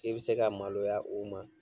I be se ka maloya o ma